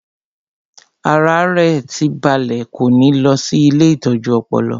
Ara rẹ̀ tí ń balẹ̀ kò ní lọ sí ilée ìtọ́jú ọpọlọ